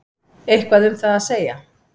Eitthvað um það að segja?